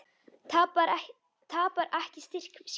Tapar ekki styrk sínum.